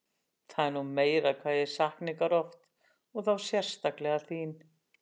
Það er nú meira hvað ég sakna ykkar oft og þá sérstaklega þín